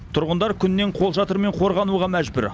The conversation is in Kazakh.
тұрғындар күннен қолшатырмен қорғануға мәжбүр